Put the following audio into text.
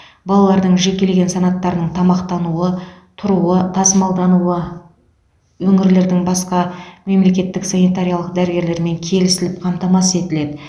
балалардың жекелеген санаттарының тамақтануы тұруы тасымалдануы өңірлердің бас мемлекеттік санитариялық дәрігерлерімен келісіліп қамтамасыз етіледі